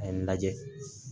A ye n lajɛ